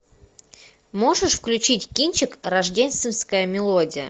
можешь включить кинчик рождественская мелодия